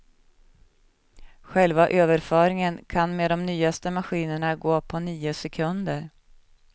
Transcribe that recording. Själva överföringen kan med de nyaste maskinerna gå på nio sekunder.